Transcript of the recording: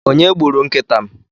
onye gburu nkịta m?